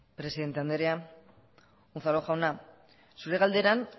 presidente andrea unzalu jauna zurea galderan